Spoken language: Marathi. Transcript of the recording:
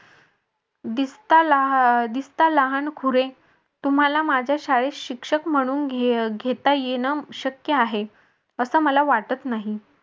दिसता दिसता लहान खुरे तुम्हाला माझ्या शाळेत शिक्षक म्हणून घेता येन शक्य आहे असं मला वाटत नाही.